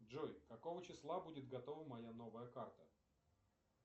джой какого числа будет готова моя новая карта